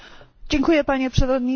Panie Przewodniczący!